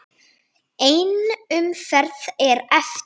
Ein umferð er eftir.